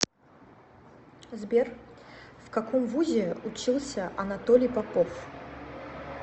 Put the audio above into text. сбер в каком вузе учился анатолий попов